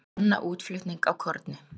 Banna útflutning á korni